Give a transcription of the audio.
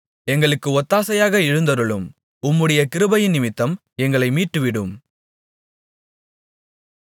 எங்களுக்கு ஒத்தாசையாக எழுந்தருளும் உம்முடைய கிருபையினிமித்தம் எங்களை மீட்டுவிடும்